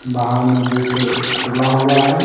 बाहर में गेट खुला हुआ है।